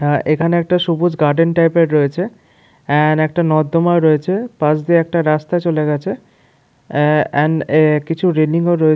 হ্যাঁ এইখানে একটা সবুজ গার্ডেন টাইপের রয়েছে এন্ড একটা নর্দমাও রয়েছে পাস দিয়ে একটা রাস্তা চলে গেছে আ এন্ড এ কিছু রেলিং -ও রয়ে--